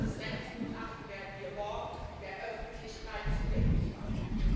Dieses Rechtsgutachten werden wir morgen der Öffentlichkeit zugänglich machen.